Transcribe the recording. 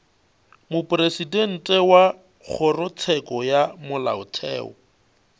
mopresidente wa kgorotsheko ya molaotheo